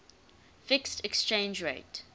fixed exchange rate